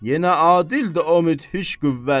Yenə adildir o müthiş qüvvət.